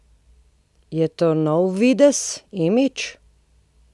Je to nov videz, imidž?